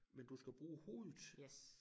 Men du skal bruge hovedet